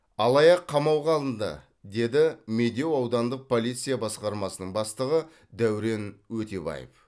алаяқ қамауға алынды деді медеу аудандық полиция басқармасының бастығы дәурен өтебаев